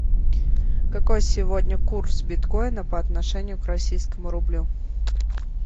какой сегодня курс биткоина по отношению к российскому рублю